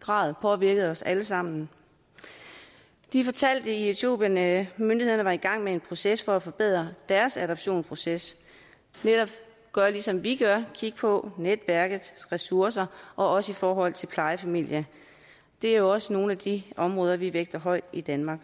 grad påvirkede os alle sammen de fortalte i etiopien at myndighederne var i gang med en proces for at forbedre deres adoptionsproces netop gøre ligesom vi gør kigge på netværkets ressourcer også i forhold til plejefamilien det er jo også nogle af de områder vi vægter højt i danmark